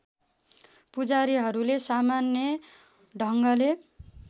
पुजारीहरूले सामान्य ढङ्गले